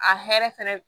A hɛrɛ fɛnɛ